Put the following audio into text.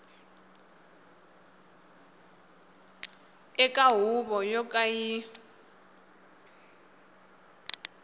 eka huvo yo ka yi